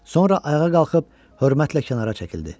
Sonra ayağa qalxıb hörmətlə kənara çəkildi.